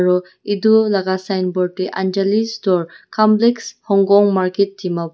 aru etu laga signboard tae anjali's store complex hongkong market dimap--